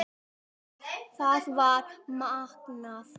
Það var magnað.